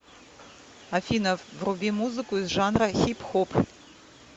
афина вруби музыку из жанра хип хоп